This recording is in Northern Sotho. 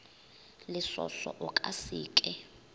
lesoso o ka se ke